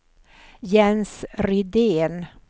Jens Rydén